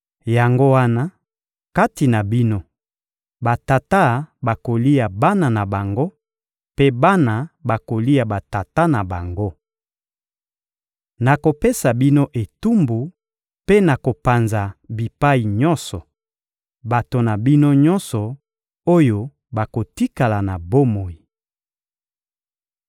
Yango wana, kati na bino, batata bakolia bana na bango, mpe bana bakolia batata na bango. Nakopesa bino etumbu mpe nakopanza bipai nyonso bato na bino nyonso oyo bakotikala na bomoi.